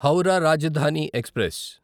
Howrah Rajdhani express